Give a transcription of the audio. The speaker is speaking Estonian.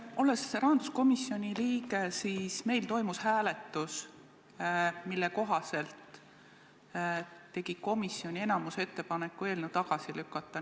Olles rahanduskomisjoni liige, tean, et meil toimus hääletus, mille kohaselt tegi komisjoni enamus ettepaneku eelnõu tagasi lükata.